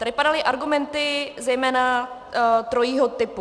Tady padaly argumenty zejména trojího typu.